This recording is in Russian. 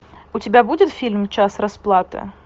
у тебя будет фильм час расплаты